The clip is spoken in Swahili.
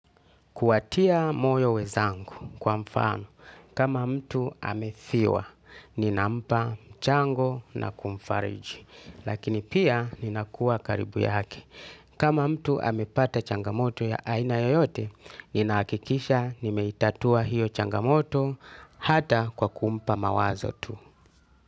Kuwatia moyo wenzangu kwa mfano. Kama mtu amefiwa, ninampa, mchango na kumfariji. Lakini pia ninakuwa karibu yake. Kama mtu amepata changamoto ya aina yoyote, ninahakikisha nimeitatua hiyo changamoto hata kwa kumpa mawazo tu.